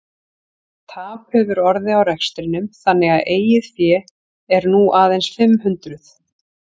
Tap hefur orðið á rekstrinum þannig að eigið fé er nú aðeins fimm hundruð.